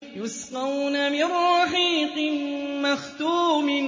يُسْقَوْنَ مِن رَّحِيقٍ مَّخْتُومٍ